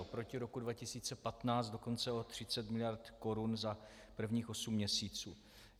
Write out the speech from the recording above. Oproti roku 2015 dokonce o 30 miliard korun za prvních osm měsíců.